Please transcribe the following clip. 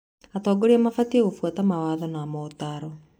Atongoria mabatiĩ gũbuata mawatho na motaaro